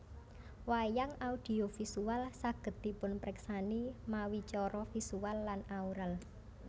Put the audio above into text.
Wayang audio visual saged dipunpriksani mawi cara visual lan aural